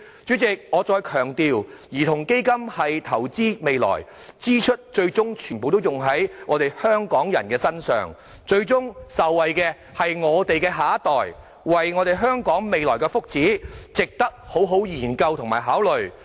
主席，我再強調，兒童基金是投資未來，支出最終全部用在香港人身上，最終受惠的是我們的下一代，為了香港未來的福祉，值得好好研究和考慮。